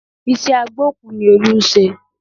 Iṣẹ́ agbókùú ni Olú ń ṣe